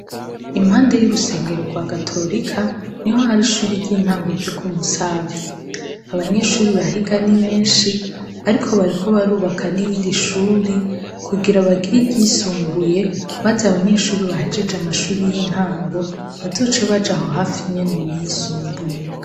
Impande y'urusengero rwa katorika, niho har'ishure ry'intango ryo kumusave. Abanyeshure bahiga ni benshi, ariko bariko barubaka n'irindi shuri kugira bagire iryisumbuye maze abanyeshure bahejeje amashuri y'intango bazoce baja aho hafinyine muyisumbuye.